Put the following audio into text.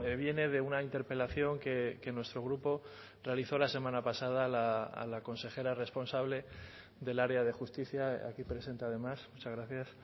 viene de una interpelación que nuestro grupo realizó la semana pasada a la consejera responsable del área de justicia aquí presente además muchas gracias